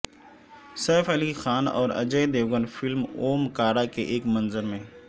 safe Ali Khan اور اجے دیوگن فلم Omkara کے ایک منظر میں